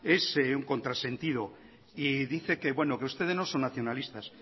es un contrasentido y dice que bueno que ustedes no son nacionalistas